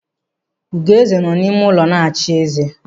Ugoeze nọ n'ime ụlọ na-echi ezé.